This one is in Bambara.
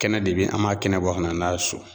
Kɛnɛ de bɛ yen, an b'a kɛnɛ bɔ ka na n'a ye so.